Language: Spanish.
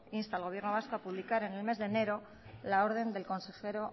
insta al gobierno vasco a publicar en el mes de enero la orden del consejero